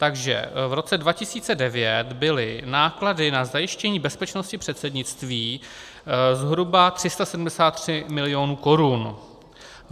Takže v roce 2009 byly náklady na zajištění bezpečnosti předsednictví zhruba 373 milionů korun.